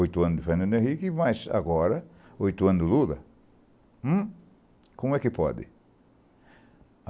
Oito anos de Fernando Henrique, mas agora, oito anos de Lula, hm, como é que pode?